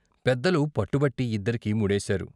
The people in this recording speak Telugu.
పెద్దలు పట్టుబట్టి ఇద్దరికీ ముడేశారు.